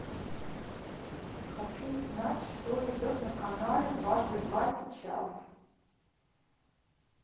хочу узнать что идет на канале дважды два сейчас